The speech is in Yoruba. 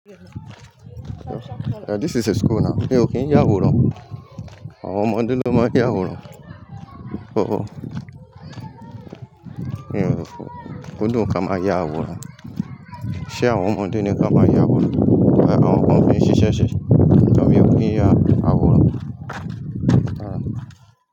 This is a school now. Mi ò kí yàwòrán, àwọn ọmọdé ló máa ń yàwòrán. Kò dùn ká máa ya àwòrán. Ṣé àwọn ọmọdé ni kí wọn máa àwòrán? Àwọn kan ń fi ṣiṣẹ́ ṣe. Ṣùgbọ́n mi ò kí ya àwòrán.